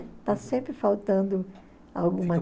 Está sempre faltando alguma coisa.